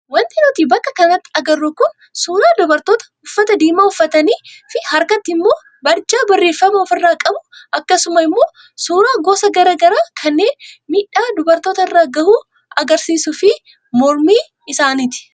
Wanti nuti bakka kanatti agarru kun suuraa dubartoota uffata diimaa uffatanii fi harkatti immoo barjaa barreeffama ofirraa qabu akkasuma immoo suuraa gosa garaagaraa kanneen miidhaa dubartootarra gahu agariisuu fi mormii isaaniiti.